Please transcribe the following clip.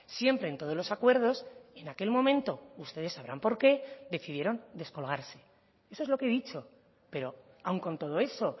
siempre en todos los acuerdos en aquel momento ustedes sabrán por qué decidieron descolgarse eso es lo que he dicho pero aun con todo eso